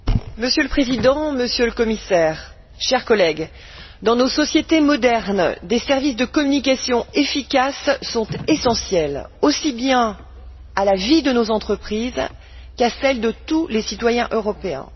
Monsieur le Président, Monsieur le Commissaire, chers collègues, dans nos sociétés modernes, des services de communication efficaces sont essentiels, aussi bien à la vie de nos entreprises qu'à celle de tous les citoyens européens.